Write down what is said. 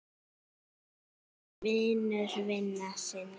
Hann var vinur vina sinna.